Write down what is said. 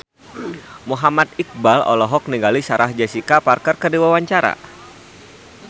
Muhammad Iqbal olohok ningali Sarah Jessica Parker keur diwawancara